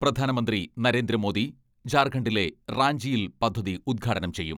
പ്രധാനമന്ത്രി നരേന്ദ്രമോദി ജാർഖണ്ഡിലെ റാഞ്ചിയിൽ പദ്ധതി ഉദ്ഘാടനം ചെയ്യും.